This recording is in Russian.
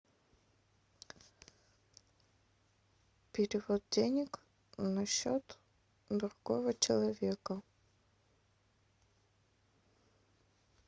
перевод денег на счет другого человека